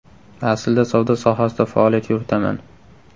Aslida savdo sohasida faoliyat yuritaman.